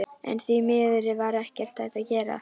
En því miður var ekkert hægt að gera.